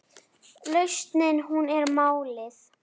Lausnin hún er málið.